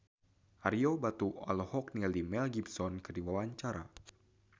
Ario Batu olohok ningali Mel Gibson keur diwawancara